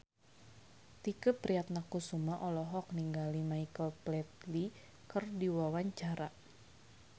Tike Priatnakusuma olohok ningali Michael Flatley keur diwawancara